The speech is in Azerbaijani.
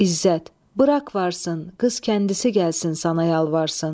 İzzət: Burax varsın, qız kəndisi gəlsin sənə yalvarsın.